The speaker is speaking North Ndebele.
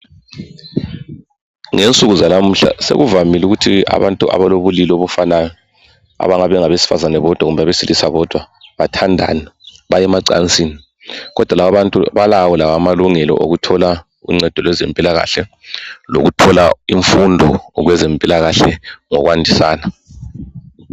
Ngensuku zalamuhla sekuvamile ukuthi abantu abalobulili obufanayo, abangabe bengabesifazane bodwa kumbe abesilisa bodwa, bathandane. Baye emacansini, kodwa lababantu balawo amalungelo, okuthola uncedo lwezempilakahle lokuthola imfundo kwezempilakahle, ngokwandisana.